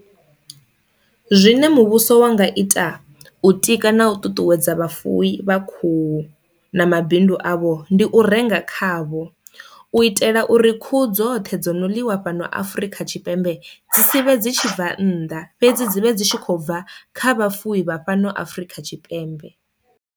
Zwine muvhuso wa nga ita u tika na u ṱuṱuwedza vhafuwi vha khuhu na mabindu avho ndi u renga khavho, u itela uri khuhu dzothe dzo no ḽiwa fhano Afrika Tshipembe dzi sivhe dzi tshi bva nnḓa fhedzi dzi vhe dzi tshi khou bva kha vhafuwi vha fhano Afrika Tshipembe.